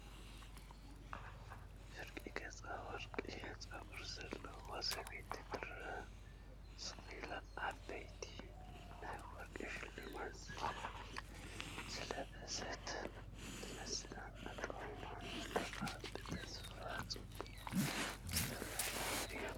ፍርቂ ገጻ ወርቃዊ ጸጉሪ ዘለዋ ሰበይቲ ትርአ። ስቕ ኢላ ዓበይቲ ናይ ወርቂ ሽምዓታት ዝለበሰት ትመስል፤ ኣጠማምታኣ ብተስፋን ጽባቐን ዝተመልአ እዩ።